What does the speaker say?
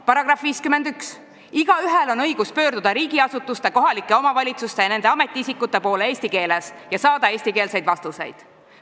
"§ 51: "Igaühel on õigus pöörduda riigiasutuste, kohalike omavalitsuste ja nende ametiisikute poole eesti keeles ja saada eestikeelseid vastuseid.